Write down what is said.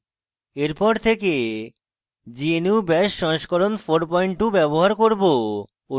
এরপর থেকে gnu bash সংস্করণ 42 ব্যবহার করব